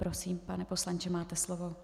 Prosím, pane poslanče, máte slovo.